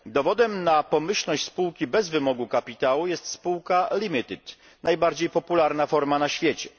Dowodem na pomyślność spółki bez wymogu kapitału jest spółka limited najbardziej popularna forma na świecie.